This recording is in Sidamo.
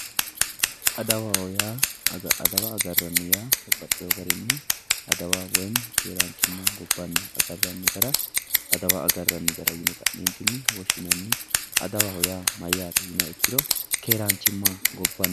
Adawaho yaa, adawa agarranni yaa babbaxewo garinni adawa woyi keeranchima gobbanniha agarranni gara adawa agarranni gara yinne ka'nentinni woshshinanni adawaho yaa mayte yinniha ikkiro keeranchima gobbannitta